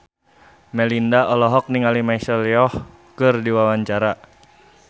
Melinda olohok ningali Michelle Yeoh keur diwawancara